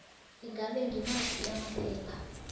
ingabe ngimaphi amaphepha